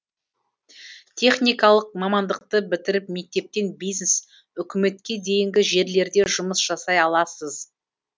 техникалық мамандықты бітіріп мектептен бизнес үкіметке дейінгі жерлерде жұмыс жасай аласыз